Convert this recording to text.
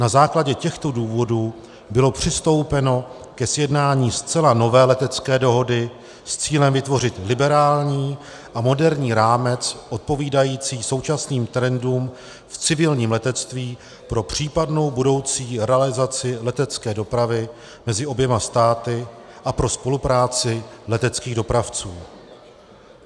Na základě těchto důvodů bylo přistoupeno ke sjednání zcela nové letecké dohody s cílem vytvořit liberální a moderní rámec odpovídající současným trendům v civilním letectví pro případnou budoucí realizaci letecké dopravy mezi oběma státy a pro spolupráci leteckých dopravců.